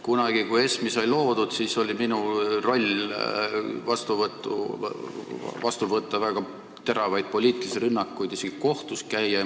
Kunagi, kui ESM-i sai loodud, oli minu roll vastu võtta väga teravaid poliitilisi rünnakuid, isegi kohtus käia.